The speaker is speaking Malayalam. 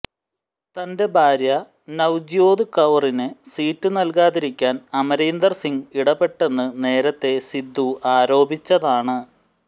തന്റെ ഭാര്യ നവ്ജ്യോത് കൌറിന് സീറ്റ് നൽകാതിരിക്കാൻ അമരീന്ദർ സിംഗ് ഇടപെട്ടെന്ന് നേരത്തേ സിദ്ദു ആരോപിച്ചിരുന്നതാണ്